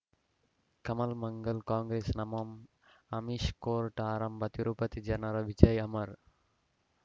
ಕಮಲ್ ಮಂಗಳ್ ಕಾಂಗ್ರೆಸ್ ನಮಃ ಅಮಿಷ್ ಕೋರ್ಟ್ ಆರಂಭ ತಿರುಪತಿ ಜನರ ವಿಜಯ ಅಮರ್